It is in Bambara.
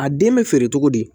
A den bɛ feere cogo di